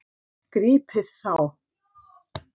Grípið þá!